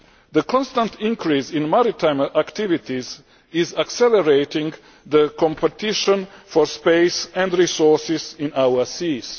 The constant increase in maritime activities is accelerating the competition for space and resources in our seas.